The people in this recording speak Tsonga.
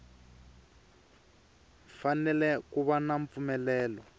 fanele ku va na mpfumelelo